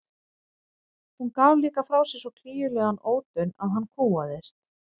Hún gaf líka frá sér svo klígjulegan ódaun að hann kúgaðist.